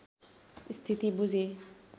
स्थिति बुझे